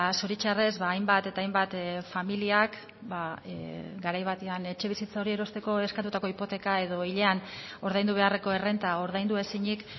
zoritxarrez hainbat eta hainbat familiak garai batean etxebizitza hori erosteko eskatutako hipoteka edo hilean ordaindu beharreko errenta ordaindu ezinik